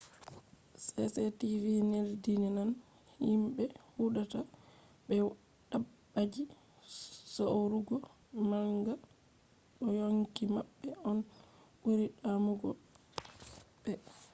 cctv neldinan himɓe hudata be dabbaji saurugo manga do yonki maɓɓe on ɓuri damugo ɓe